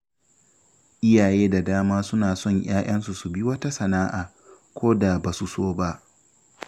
Iyaye da dama suna son ‘ya’yansu su bi wata sana’a, ko da ba su so ba.